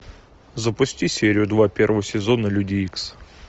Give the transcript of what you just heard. запусти серию два первого сезона люди икс